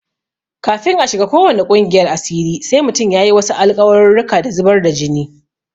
Kafin a shiga ko wane ƙungiyar asiri sai mutum ya yi wasu alƙawarurruka da zubar da jini.